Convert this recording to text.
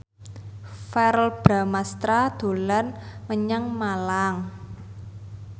Verrell Bramastra dolan menyang Malang